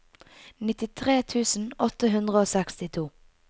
nittitre tusen åtte hundre og sekstito